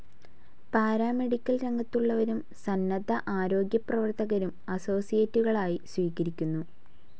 Paramedical രംഗത്തുള്ളവരും സന്നദ്ധ ആരോഗ്യപ്രവർത്തകരും അസോസിയേറ്റുകളായി സ്വീകരിക്കുന്നു.